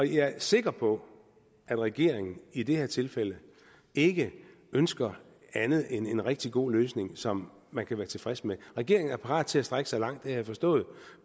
jeg er sikker på at regeringen i det her tilfælde ikke ønsker andet end en rigtig god løsning som man kan være tilfreds med regeringen er parat til at strække sig langt det har jeg forstået